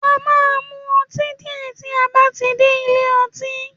À máa mú õtí dìé tí a bátí dè ìlé õtí